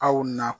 Aw na